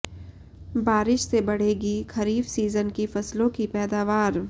बारिश से बढ़ेगी खरीफ सीजन की फसलों की पैदावार